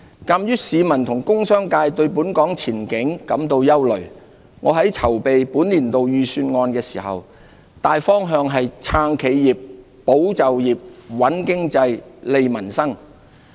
鑒於市民和工商界對本港經濟前景感到憂慮，我在籌備本年度預算案時，大方向是"撐企業、保就業、穩經濟、利民生"。